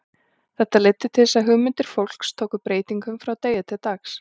Þetta leiddi til þess að hugmyndir fólks tóku breytingum frá degi til dags.